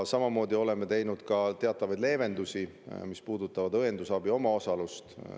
Samuti oleme teinud teatavaid leevendusi, mis puudutavad õendusabi omaosalust.